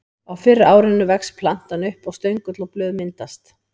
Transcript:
Á fyrra árinu vex plantan upp og stöngull og blöð myndast.